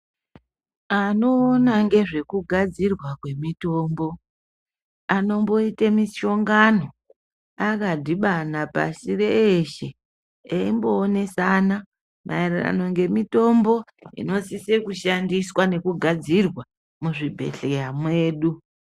Anoona ngezvekugadzirwa kwemitombo, anomboite mishongano akadhibana pashi reeshe, eimboonesana, maererano ngemitombo inosisa kushandisa, nekugadzirwa muzvibhedhleya mwedu.